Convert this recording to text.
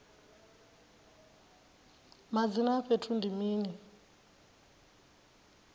madzina a fhethu ndi mini